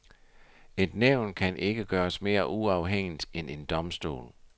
Et nævn kan ikke gøres mere uafhængigt end en domstol.